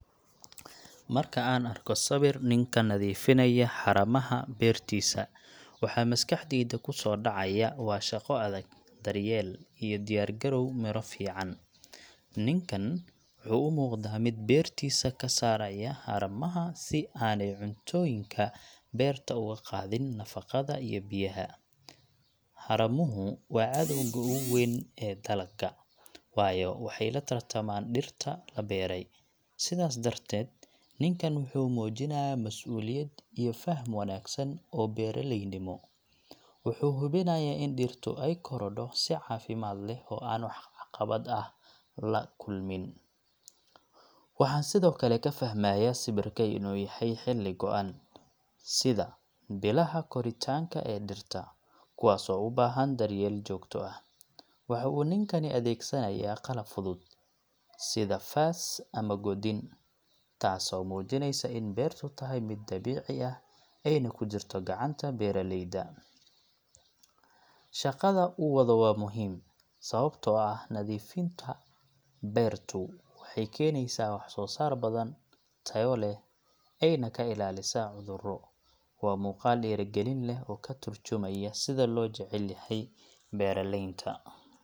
Marka aan arko sawir nin ka nadiifinaya haramaha beertiisa, waxa maskaxdayda ku soo dhacaya waa shaqo adag, daryeel iyo diyaar-garow miro fiican. Ninkan wuxuu u muuqdaa mid beertiisa ka saaraya haramaha si aanay cuntooyinka beerta uga qaadin nafaqada iyo biyaha. Haramuhu waa cadowga ugu weyn ee dalagga, waayo waxay la tartamaan dhirta la beeray. Sidaas darteed, ninkan wuxuu muujinayaa mas’uuliyad iyo faham wanaagsan oo beeraleynimo. Wuxuu hubinayaa in dhirtu ay korodho si caafimaad leh oo aan wax caqabad ah la kulmin. Waxaan sidoo kale ka fahmayaa sawirka in uu yahay xilli go’an, sida bilaha koritaanka ee dhirta, kuwaas oo u baahan daryeel joogto ah. Waxa uu ninkani adeegsanayaa qalab fudud, sida faas ama godin, taasoo muujinaysa in beertu tahay mid dabiici ah, ayna ku jirto gacanta beeraleyda. Shaqada uu wado waa muhiim, sababtoo ah nadiifinta beertu waxay keenaysaa wax-soosaar badan, tayo leh, ayna ka ilaalisaa cudurro. Waa muuqaal dhiirigelin leh oo ka tarjumaya sida loo jecel yahay beeraleynta.